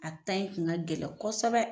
A ta in kun ka gɛlɛn kɔsɔbɛ.